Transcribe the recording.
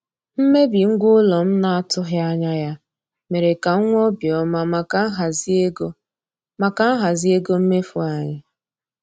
Mmebi ngwa ụlọ m na-atụghị anya ya mere ka m nwee obi ọma maka nhazi ego maka nhazi ego mmefu anyị.